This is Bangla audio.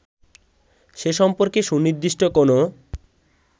সে সম্পর্কে সুনির্দিষ্ট কোনো